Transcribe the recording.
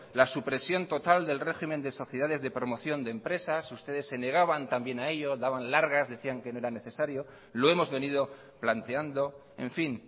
la supresión total del régimen de sociedades de promoción de empresas ustedes se negaban también a ello daban largas decían que no era necesario lo hemos venido planteando en fin